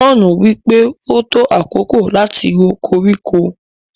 john wípé o tó àkókò lati rò koríko.